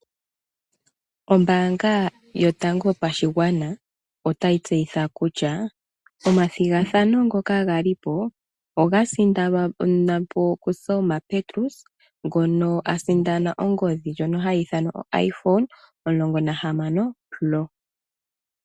Ombaanga yotango yopashigwana otayi tseyitha kutya omathigathano ngoka ga li ko oga sindanwa po kuSelma Petrus ngoka a sindana ongodhi ndyoka hayi ithanwa oiPhone 16.